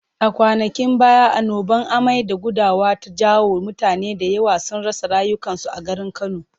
A kwanakin baya annobar amai da gudawa ta jawo mutane da yawa sun rasa rayukansu a garin Kano.